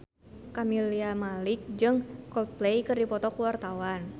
Camelia Malik jeung Coldplay keur dipoto ku wartawan